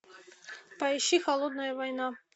поищи холодная война